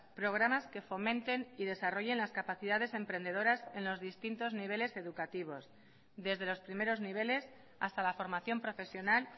programas que fomenten y desarrollen las capacidades emprendedoras en los distintos niveles educativos desde los primeros niveles hasta la formación profesional